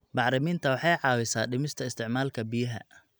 Bacriminta waxay caawisaa dhimista isticmaalka biyaha.